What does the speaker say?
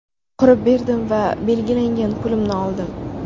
Qurib berdim va belgilangan pulimni oldim.